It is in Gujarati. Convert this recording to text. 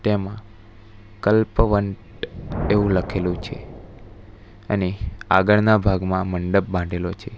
આમાં કલ્પવંત એવું લખેલું છે અને આગળના ભાગમાં મંડપ બાંધેલો છે.